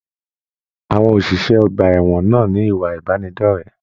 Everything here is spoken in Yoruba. Àwọn oṣiṣẹ ọgbà ẹwọn náà ní ìwà ìbánidọ̀rẹ̀.